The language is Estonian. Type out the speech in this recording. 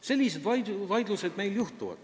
Sellised vaidlused meil on.